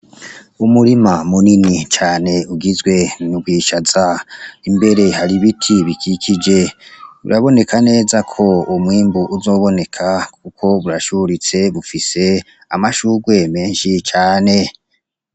Umurima munini cane ugizwe nwishaza imbere hari ibiti bikikije uraboneka neza ko umwimbu uzoboneka, kuko burashuritse bufise amashurwe menshi cane.